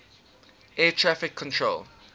air traffic control